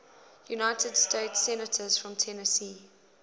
united states senators from tennessee